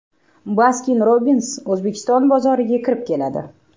Baskin-Robbins O‘zbekiston bozoriga kirib keladi.